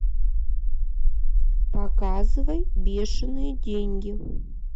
показывай бешеные деньги